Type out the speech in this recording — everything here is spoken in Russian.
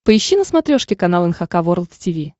поищи на смотрешке канал эн эйч кей волд ти ви